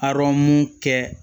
Arɔn mu kɛ